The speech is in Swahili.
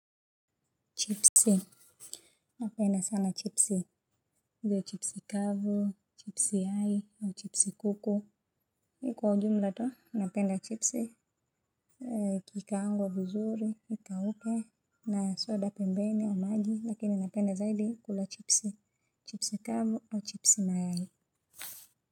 Chipsi, napenda sana chipsi, iwe chipsi kavu, chipsi yai na chips kuku. Mi kwa ujumla tu napenda chipsi ikikaangwa vizuri, ikauke, na soda pembeni, au maji lakini napenda zaidi kula chipsi, chipsi kavu, au chipsi mayai Muzika.